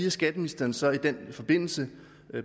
at skatteministeren så i den forbindelse